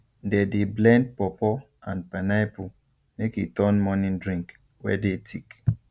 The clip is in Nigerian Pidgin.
they dey blend pawpaw and pineapple make e turn morning drink wey dey thick